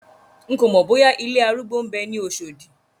N kòmọ̀ bóyá ilé arúgbó ń bẹ ní Oṣòdì.